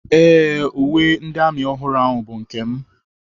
Ee, uwe ndị amị ọhụrụ ahụ bụ nke m.